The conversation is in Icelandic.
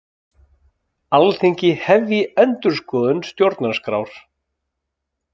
Alþingi hefji endurskoðun stjórnarskrár